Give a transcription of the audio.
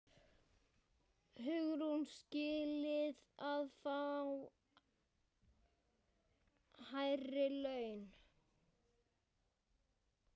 Hugrún: Skilið að fá hærri laun?